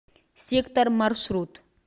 сектор маршрут